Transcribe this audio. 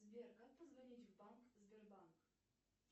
сбер как позвонить в банк сбербанк